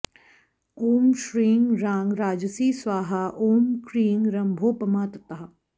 ॐ श्रीं रां राजसी स्वाहा ॐ क्रीं रम्भोपमा तथा